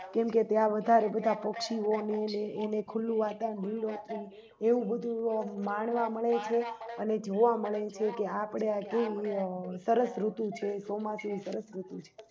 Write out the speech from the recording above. કેમકે ત્યાં વધારે બધા પક્ષીઓને એને ખુલ્લું વાતાવરણ એવું બધું માણવા મળે છે અને જોવા મળે છે કે આપણે આ કેવી સરસ ઋતુ છે ચોમાસું સરસ ઋતુ છે